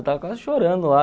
Eu estava quase chorando lá.